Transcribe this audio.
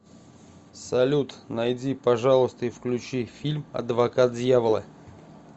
салют найди пожалуйста и включи фильм адвокат дьявола